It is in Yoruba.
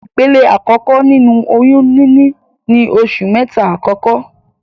Ìpele àkọ́kọ́ nínu oyún níní ni oṣù mẹ́ta àkọ́kọ́.